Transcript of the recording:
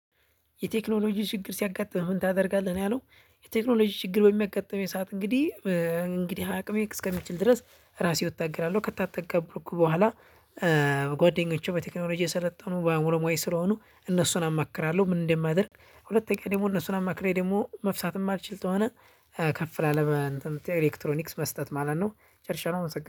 የቴክኖሎጂ ችግር ሲያጋጥምህ ምን ታደርጋለህ ነው ያለው? የቴክኖሎጂ ችግር በሚያጋጥመኝ ሰዓት እንግዲህ እንግዲህ አቅሜ እስከሚችል ድረስ ራሴው እታገላለው ከታገልኩበት በኋላ። ጓደኞቹ በቴክኖሎጂ የሰለጠኑ በአእምሮ ሙያ ስለሆኑ እነሱን አማክራለሁ። ምን እንደማደርግ ሁለተኛ ደግሞ እነሱን አማክሬ ደግሞ መፍታት ማልችል ከሆነ ከፍ ላለ ኤሌክትሮኒክስ መስጠት ማለት ነው። ጨርሻለሁ አመሰግናለው።